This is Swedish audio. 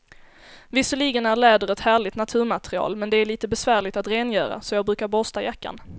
Visserligen är läder ett härligt naturmaterial, men det är lite besvärligt att rengöra, så jag brukar borsta jackan.